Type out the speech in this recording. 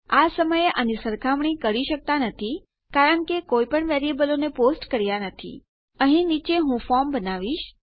આ સમયે આની સરખામણી કરી શકતા નથી કારણ કે કોઈપણ વેરીએબલોને પોસ્ટ કર્યા નથી અહીં નીચે હું ફોર્મ બનાવીશ